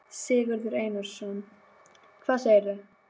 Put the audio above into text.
Sigurður Einarsson: Hvað segirðu?